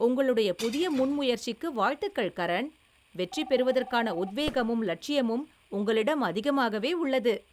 உங்களுடைய புதிய முன்முயற்சிக்கு வாழ்த்துகள், கரண், வெற்றி பெறுவதற்கான உத்வேகமும் லட்சியமும் உங்களிடம் அதிகமாகவே உள்ளது.